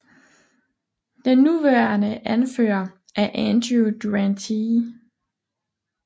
Den nuværende anfører er Andrew Durante